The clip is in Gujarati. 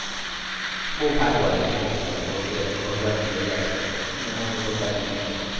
બહુ સારું હાલે છે નથી વાંધો અત્યારે તો ભગવાનની દયા છે અને મમ્મી પપ્પાની મહેનત.